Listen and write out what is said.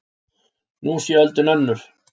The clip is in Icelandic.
Nú sé öldin önnur